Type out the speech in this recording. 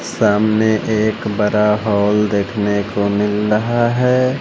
सामने एक बरा हॉल देखने को मिल रहा है।